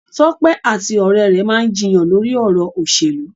Tope ati ore re maa n jiyàn lori ọrọ oselu.